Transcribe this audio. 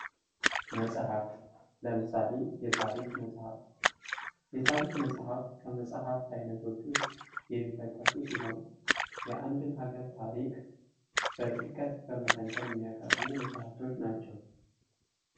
መፅሐፍት ለምሳሌ የታሪክ መፅሐፍት የታሪክ መፅሐፍት ከመፅሐፍት አይነቶች ዉስጥ የሚጠቀሱ ሲሆን የአንድን ሀገር ታሪክ በጥልቀት በመተንተን የሚያቀርቡ መፅሐፍቶች ናቸው::